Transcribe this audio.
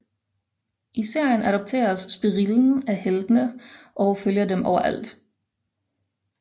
I serien adopteres spirillen af heltene og følger dem overalt